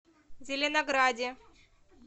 зеленограде